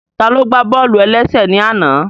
Taló gbá bọ́ọ̀lù-ẹlẹ́sẹ̀ ní àná?